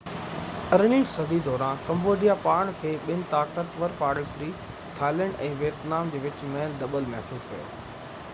18 هين صدي دوران ڪمبوڊيا پاڻ کي ٻن طاقتور پاڙيسري ٿائيلينڊ ۽ ويتنام جي وچ ۾ دٻيل محسوس ڪيو